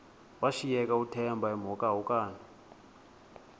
washiyeka uthemba emhokamhokana